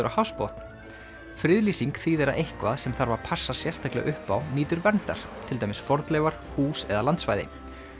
á hafsbotn friðlýsing þýðir að eitthvað sem þarf að passa sérstaklega upp á nýtur verndar til dæmis fornleifar hús eða landsvæði